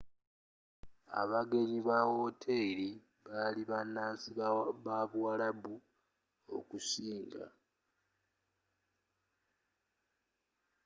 abagenyi ba wooteri bali bannansi babuwarabu okusinga